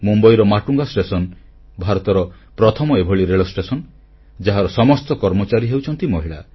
ମୁମ୍ବାଇର ମାଟୁଙ୍ଗା ଷ୍ଟେସନ ଭାରତର ପ୍ରଥମ ଏଭଳି ରେଳଷ୍ଟେସନ ଯାହାର ସମସ୍ତ କର୍ମଚାରୀ ହେଉଛନ୍ତି ମହିଳା